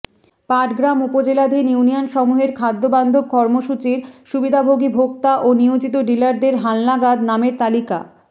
পাটগ্রাম উপজেলাধীন ইউনিয়ন সমূহের খাদ্য বান্ধব কর্মসূচীর সুবিধাভোগী ভোক্তা ও নিয়োজিত ডিলারদের হালনাগাদ নামের তালিকা